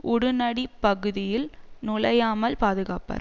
உடுனடிப் பகுதியில் நுழையாமல் பாதுகாப்பர்